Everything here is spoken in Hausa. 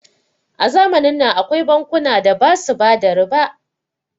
A zamanin nan akwai bankuna da basu bada riba